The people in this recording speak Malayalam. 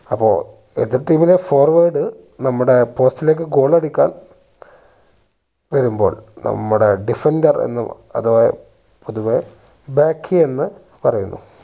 അപ്പൊ എതിർ team ലെ forward നമ്മുടെ post ലേക്ക് goal അടിക്കാൻ വരുമ്പോൾ നമ്മുടെ diffender എന്നു ഏർ അഥവാ പൊതുവെ back എന്നു പറയുന്നു